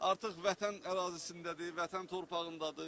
Artıq Vətən ərazisindədir, Vətən torpağındadır.